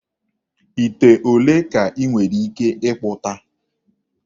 Ite ole ka ị nwere ike ịkpụta?